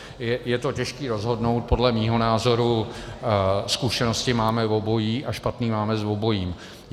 Je to těžké rozhodnout, podle mého názoru zkušenosti máme obojí a špatné máme s obojím.